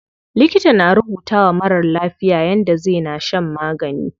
Likita na rubutawa marar lafiya yadda zai na shan magani.